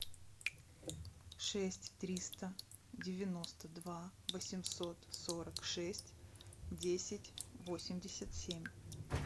шесть триста девяносто два восемьсот сорок шесть десять восемьдесят семь